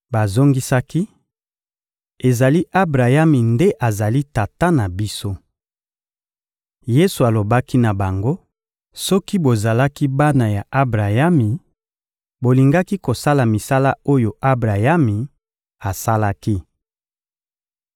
Bazongisaki: — Ezali Abrayami nde azali tata na biso. Yesu alobaki na bango: — Soki bozalaki bana ya Abrayami, bolingaki kosala misala oyo Abrayami asalaki.